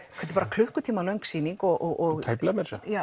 klukkutíma löng sýning og tæplega